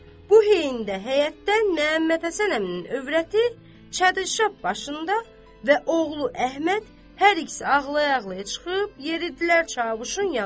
Bu heydə həyətdən Məhəmməd Həsən əminin övrəti çadırşab başında və oğlu Əhməd hər ikisi ağlaya-ağlaya çıxıb yeridilər Çavuşun yanına.